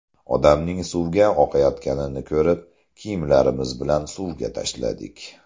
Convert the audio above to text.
Odamning suvga oqayotganini ko‘rib, kiyimlarimiz bilan suvga tashladik.